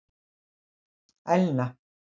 Elna